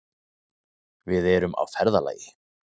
Við erum á ferðalagi.